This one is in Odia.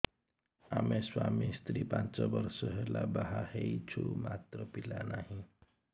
ଆମେ ସ୍ୱାମୀ ସ୍ତ୍ରୀ ପାଞ୍ଚ ବର୍ଷ ହେଲା ବାହା ହେଇଛୁ ମାତ୍ର ପିଲା ନାହିଁ